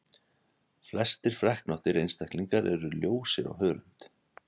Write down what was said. flestir freknóttir einstaklingar eru ljósir á hörund